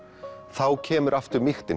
þá kemur